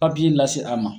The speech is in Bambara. lase a ma